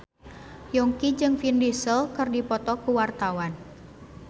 Yongki jeung Vin Diesel keur dipoto ku wartawan